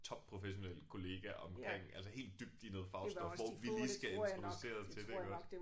Topprofessionel kollega omkring altså helt dybt i noget fagstof hvor vi lige skal introduceres til det iggås